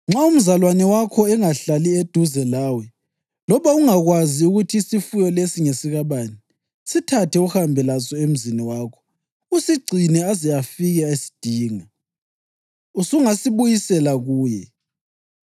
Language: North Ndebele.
Nxa umzalwane wakho engahlali eduze lawe loba ungakwazi ukuthi isifuyo lesi ngesikabani, sithathe uhambe laso emzini wakho usigcine aze afike esidinga. Usungasibuyisela kuye.